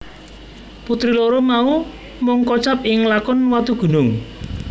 Putri loro mau mung kocap ing lakon Watugunung